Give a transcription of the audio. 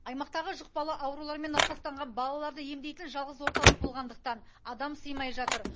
аймақтағы жұқпалы аурулармен науқастанған балаларды емдейтін жалғыз орталық болғандықтан адам сыймай жатыр